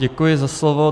Děkuji za slovo.